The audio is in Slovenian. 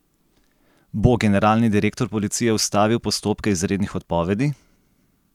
Bo generalni direktor policije ustavil postopke izrednih odpovedi?